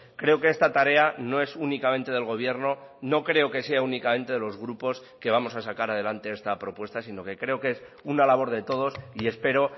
creo que esta tarea no es únicamente del gobierno no creo que sea únicamente de los grupos que vamos a sacar adelante esta propuesta sino que creo que es una labor de todos y espero